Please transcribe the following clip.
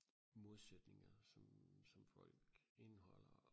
modsætninger som som folk indeholder og